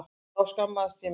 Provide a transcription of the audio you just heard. Þá skammaðist ég mín.